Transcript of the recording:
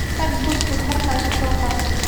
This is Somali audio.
Tag buskut halkaas u soo qaad.